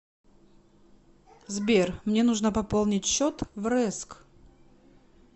сбер мне нужно пополнить счет в рэск